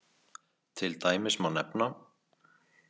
Til dæmis má nefna.